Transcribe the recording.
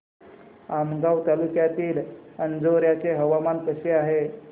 आमगाव तालुक्यातील अंजोर्याचे हवामान कसे आहे